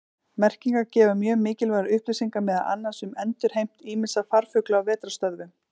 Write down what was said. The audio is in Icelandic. Merkingar gefa mjög mikilvægar upplýsingar meðal annars um endurheimt ýmissa farfugla á vetrarstöðvum.